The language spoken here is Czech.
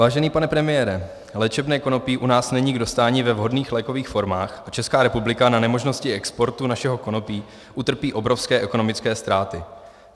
Vážený pane premiére, léčebné konopí u nás není k dostání ve vhodných lékových formách a Česká republika na nemožnosti exportu našeho konopí utrpí obrovské ekonomické ztráty.